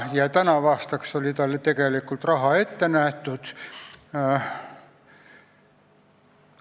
Tänavuseks aastaks oli talle tegelikult raha ette nähtud.